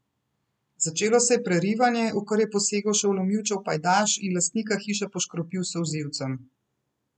Začelo se je prerivanje, v kar je posegel še vlomilčev pajdaš in lastnika hiše poškropil s solzivcem.